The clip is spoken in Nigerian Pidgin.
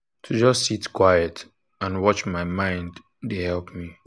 to just sit quiet and watch my mind dey help me.